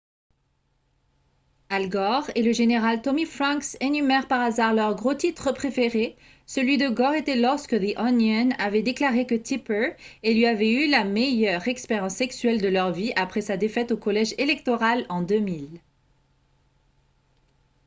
al gore et le général tommy franks énumèrent par hasard leurs gros titres préférés celui de gore était lorsque the onion avait déclaré que tipper et lui avaient eu la meilleure expérience sexuelle de leur vie après sa défaite au collège électoral en 2000